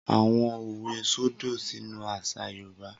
Awọn òwe sodo sínú àṣà Yorùbá.